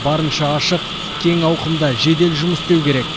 барынша ашық кең ауқымда жедел жұмыс істеу керек